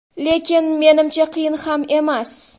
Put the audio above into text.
Lekin, menimcha, qiyin ham emas.